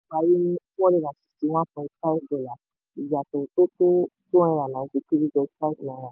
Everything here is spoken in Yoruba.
pari ní four hundred and sixty one point five per one dollar iyatọ̀ tó tó two nine three point five naira